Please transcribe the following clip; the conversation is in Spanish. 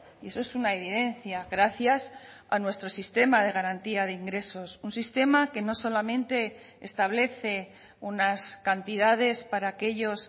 y eso es una evidencia gracias a nuestro sistema de garantía de ingresos un sistema que no solamente establece unas cantidades para aquellos